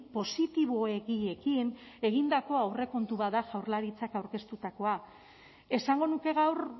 positiboegiekin egindako aurrekontu bat da jaurlaritzak aurkeztutakoa esango nuke gaur